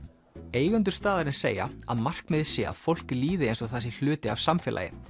eigendur staðarins segja að markmiðið sé að fólki líði eins og það sé hluti af samfélagi